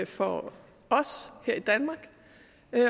for os her i danmark